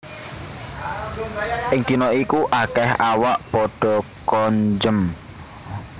Ing dina iku akèh awak padha konjem